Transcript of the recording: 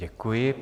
Děkuji.